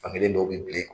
Fankelen dɔw bɛ bilen